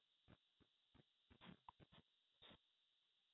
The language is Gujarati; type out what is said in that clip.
પણ સાયન્સ માં થોડા વધારે રસ્તા છે